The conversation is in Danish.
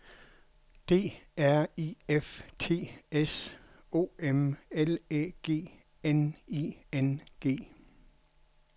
D R I F T S O M L Æ G N I N G